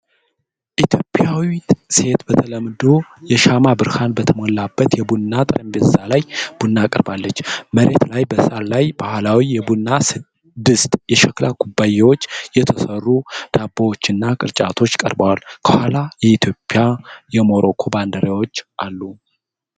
ኢትዮጵያዊት ሴት በተለምዶ የሻማ ብርሃን በተሞላበት የቡና ጠረጴዛ ላይ ቡና አቅርባለች። መሬት ላይ በሳር ላይ ባህላዊ የቡና ድስት፣ የሸክላ ኩባያዎች፣ የተሰሩ ዳቦዎች እና ቅርጫቶች ቀርበዋል። ከኋላ የኢትዮጵያና የሞሮኮ ባንዲራዎች አሉ።